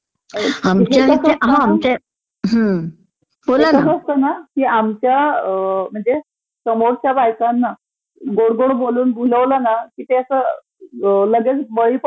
आमच्या म्हणजे समोरच्या बायकांना गोड गोड बोलून भुलवलं ना की लगेच बळी पडतात ना..त्यामुळे ह्या गोष्टी होतात.